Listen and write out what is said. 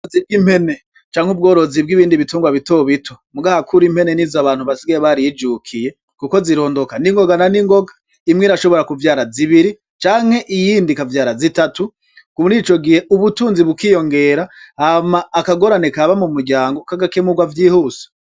Ubgorozi bg'impene canke ubgorozi bgibindi bitungwa bito bito mugabo kurubu impene nizo abantu basigaye barijukiye kuko zirondoka ningoga na ningoga imwe irashobora kuvyara zibiri canke iyindi ikavyara zitatu murico gihe ubutunzi buriyongera hama akagorane kaba mu muryango kagakemurwa vyihuse.